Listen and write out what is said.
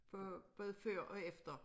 For både før og efter